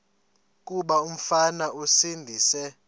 kuba umfana esindise